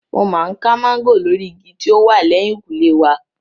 Mo máa ń ká máńgò lórí igi tí ó wà lẹ́hìnkùlé wa.